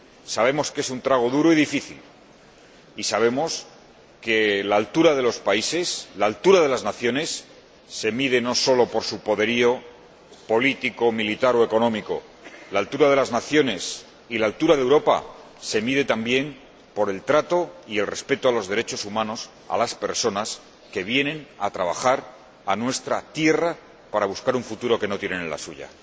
Sabemos que es un trago duro y difícil y sabemos que la altura de los países, la altura de las naciones, se mide no sólo por su poderío político, militar o económico, sino que la altura de las naciones y la altura de Europa se mide también por el trato y el respeto a los derechos humanos, a las personas que vienen a trabajar a nuestra tierra para buscar un futuro que no tienen en la suya.